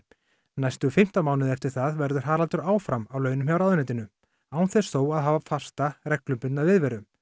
næstu fimmtán mánuði eftir það verður Haraldur áfram á launum hjá ráðuneytinu án þess þó að hafa fasta reglubundna viðveru